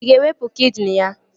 Ị ga-ewepụ kidini ya?